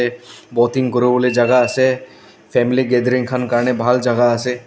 boating kuriwolae jaka ase family gathering khan karni bhal jakaase.